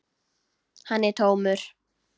Hann er tómur.